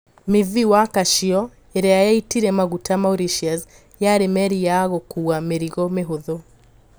MV Wakashio iria yaitire maguta Mauritius yari meri ya gũkuwa mirigo mihũthũ.